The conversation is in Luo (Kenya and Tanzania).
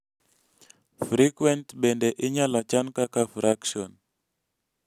frequenct bende inyalo chan kaka fraction